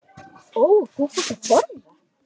Og þú fórst að brosa.